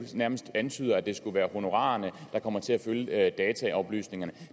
nærmest antyder nemlig at det skulle være honorarerne der kommer til at følge dataoplysningerne